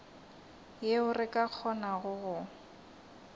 yeo re ka kgonago go